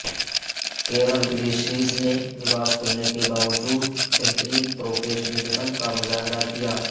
کیرل گریشیز نےلباس کھلنے کے باوجود بہترین پروفیشنلزم کا مظاہرہ کیا